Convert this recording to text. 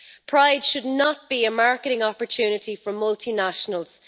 Pride should not be a marketing opportunity for multinationals.